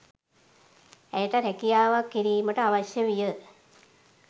ඇයට රැකියාවක් කිරීමට අවශ්‍ය විය